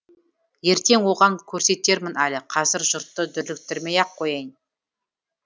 ертең оған көрсетермін әлі қазір жұртты дүрліктірмей ақ қояйын